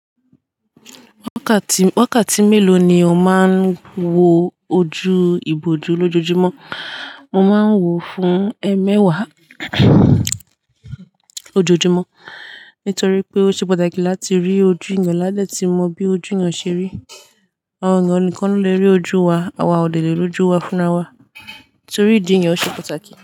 Wákàtí, wákàtí mélòó ni o máa ń wo ojú iboju lójoojúmọ́? Mo máa ń wo fún ẹmẹwàá ojoojúmọ́ nítorí pé ó ṣe pàtàkì láti rí ojú yàn lá lẹ tí mo bí ojú yàn ṣe rí. Àwọn èèyàn nìkan ló le rí ojú wa àwa òdẹ le rí ojú wa fún ra wa torí ìdí yàn ṣe pàtàkì.